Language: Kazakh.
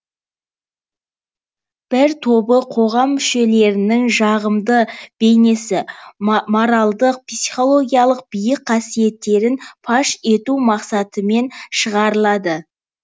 бір тобы қоғам мүшелерінің жағымды бейнесі моральдық психологиялық биік қасиеттерін паш ету мақсатымен шығарылады